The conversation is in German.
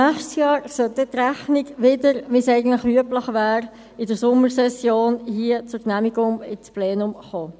Nächstes Jahr sollte die Rechnung dann wieder, wie es eigentlich üblich wäre, in der Sommersession hier zur Genehmigung ins Plenum kommen.